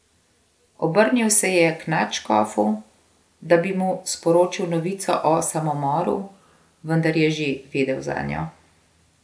Obrnil se je k nadškofu, da bi mu sporočil novico o samomoru, vendar je že vedel zanjo.